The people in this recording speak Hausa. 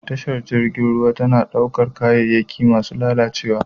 Tashar jirgin ruwa tana ɗaukar kayayyaki masu lalacewa.